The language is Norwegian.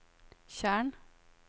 tjern